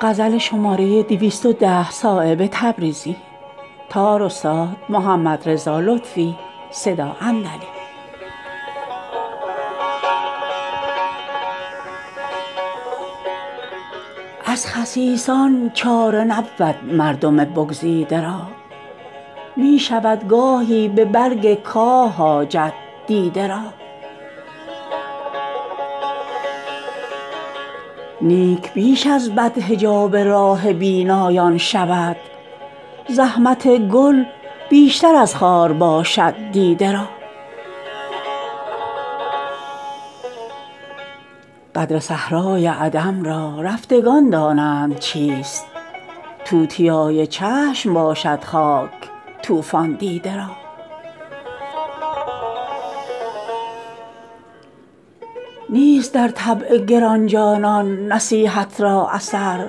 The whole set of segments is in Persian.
از خسیسان چاره نبود مردم بگزیده را می شود گاهی به برگ کاه حاجت دیده را نیک بیش از بد حجاب راه بینایان شود زحمت گل بیشتر از خار باشد دیده را قدر صحرای عدم را رفتگان دانند چیست توتیای چشم باشد خاک طوفان دیده را نیست در طبع گرانجانان نصیحت را اثر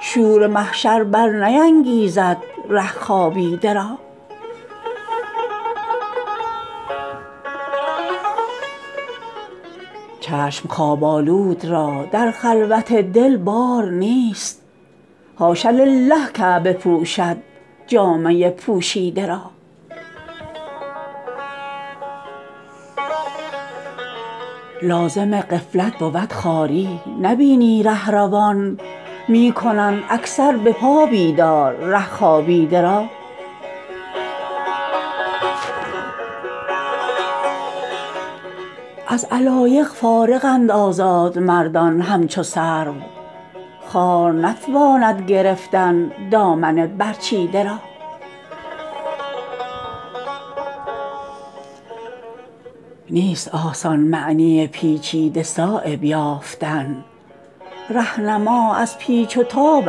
شور محشر برنیانگیزد ره خوابیده را چشم خواب آلود را در خلوت دل بار نیست حاش لله کعبه پوشد جامه پوشیده را لازم غفلت بود خواری نبینی رهروان می کنند اکثر به پا بیدار ره خوابیده را از علایق فارغند آزاد مردان همچو سرو خار نتواند گرفتن دامن برچیده را نیست آسان معنی پیچیده صایب یافتن رهنما از پیچ و تاب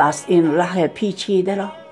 است این ره پیچیده را